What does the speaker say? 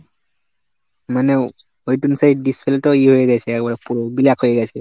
মানে wait insight display টা ইয়ে হয়ে গেছে একবারে পুরো blackহয়ে গেছে।